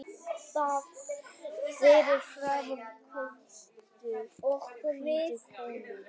Fyrir framan fremstu hvítu kúluna.